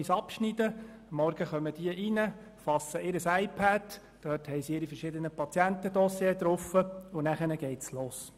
Die Mitarbeitenden kommen am Morgen, fassen ihre iPads, auf welchen sich die verschiedenen Patientendossiers befinden, und dann geht es los.